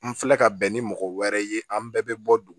N filɛ ka bɛn ni mɔgɔ wɛrɛ ye an bɛɛ bɛ bɔ dugu